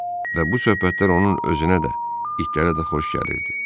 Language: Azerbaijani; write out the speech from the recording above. Və bu söhbətlər onun özünə də, itlərə də xoş gəlirdi.